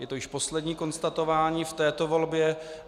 Je to již poslední konstatování v této volbě.